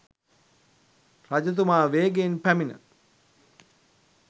රජතුමා වේගයෙන් පැමිණ